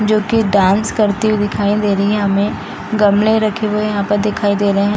जो की डांस करती हुए दिखाई दे रही है हमें गमले रखे हुए यहाँ पे दिखाई दे रहे हैं।